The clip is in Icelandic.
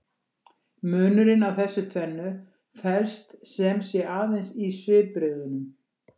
Munurinn á þessu tvennu felst sem sé aðeins í svipbrigðunum.